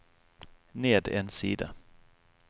ned en side